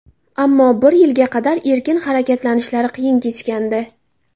Ammo bir yilga qadar erkin harakatlanishlari qiyin kechgandi.